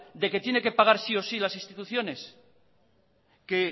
de que tiene que pagar sí o sí las instituciones que